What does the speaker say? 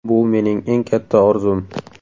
Bu mening eng katta orzum”.